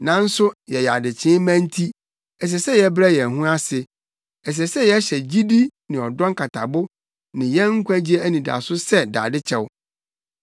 Nanso yɛyɛ adekyee mma nti, ɛsɛ sɛ yɛbrɛ yɛn ho ase. Ɛsɛ sɛ yɛhyɛ gyidi ne ɔdɔ nkatabo ne yɛn nkwagye anidaso sɛ dade kyɛw.